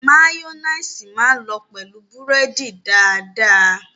Máyóníìsì máa lọ pẹ̀lú búrẹ́dì dáadáa.